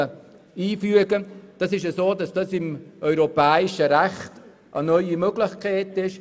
Profiling stellt innerhalb des europäischen Rechts eine neue Möglichkeit dar.